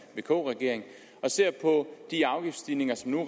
vk regering og ser på de afgiftsstigninger som nu